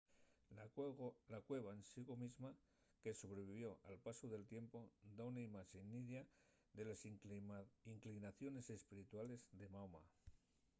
la cueva en sigo mesma que sobrevivió al pasu del tiempu da una imaxe nidia de les inclinaciones espirituales de mahoma